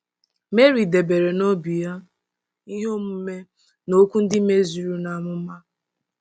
Meri debere n'obi ya ihe omume na okwu ndị mezuru amụma.